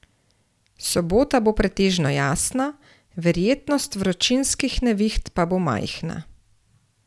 Sobota bo pretežno jasna, verjetnost vročinskih neviht pa bo majhna.